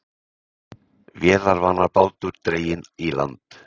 Vélarvana bátur dreginn í land